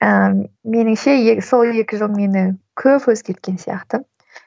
ыыы меніңше сол екі жыл мені көп өзгерткен сияқты